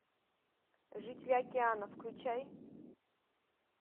жители океанов включай